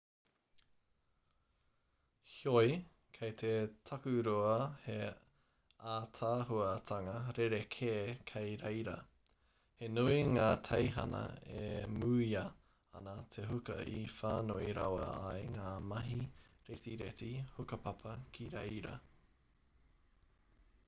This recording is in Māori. heoi kei te takurua he ātaahuatanga rerekē kei reira he nui ngā teihana e mūia ana e te huka i whānui rawa ai ngā mahi retireti hukapapa ki reira